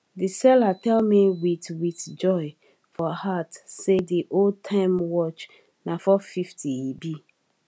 the seller tell me with with joy for heart say the old timewatch na four fifty e be